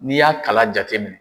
N'i y'a kala jate minɛ.